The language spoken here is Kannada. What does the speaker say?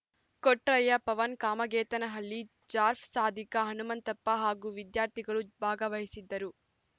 ಕೊಟ್ರಯ್ಯ ಪವನ್‌ ಕಾಮಗೆತನಹಳ್ಳಿ ಜಾರ್ಜ್ ಸಾದಿಕ್‌ ಹನುಮಂತಪ್ಪ ಹಾಗೂ ವಿದ್ಯಾರ್ಥಿಗಳು ಭಾಗವಹಿಸಿದ್ದರು